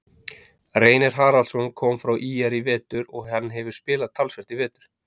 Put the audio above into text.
Reynir Haraldsson kom frá ÍR í vetur og hann hefur spilað talsvert í vetur.